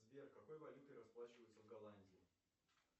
сбер какой валютой расплачиваются в голландии